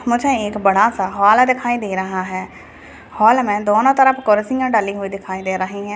मुझे एक बड़ा सा हॉल दिखाई दे रहा है हॉल मे दोनों तरफ कुर्सियां डली हुई दिखाई दे रही है।